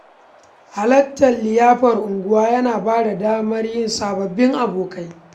Halartar liyafa a unguwa yana ba da damar yin sababbin abokai.